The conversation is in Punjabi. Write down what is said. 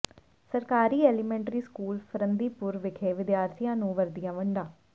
ਸਰਕਾਰੀ ਐਲੀਮੈਂਟਰੀ ਸਕੂਲ ਫਰੰਦੀਪੁਰ ਵਿਖੇ ਵਿਦਿਆਰਥੀਆਂ ਨੂੰ ਵਰਦੀਆਂ ਵੰਡੀਆ